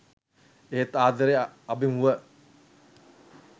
එහෙත් ආදරය අභිමුව